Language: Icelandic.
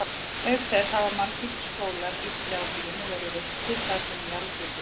Auk þess hafa margir skólar í strjálbýlinu verið reistir þar sem jarðhiti er.